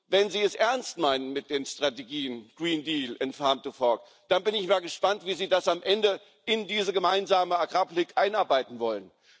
Wenn Sie es ernst meinen mit den Strategien und dann bin ich mal gespannt, wie Sie das am Ende in diese gemeinsame Agrarpolitik einarbeiten wollen.